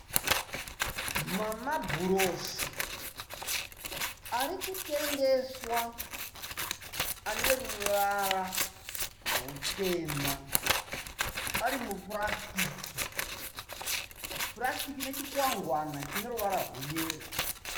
Mamabhurosi ari kutengeswa. Ane ruvara rutema ari mupurasitiki. Purasitiki nechikwangwana chine ruvara rweyero.